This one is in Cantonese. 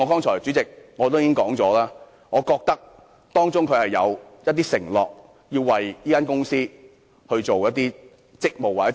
主席，正如我剛才所說，我覺得協議中他承諾為這間公司履行一些職責。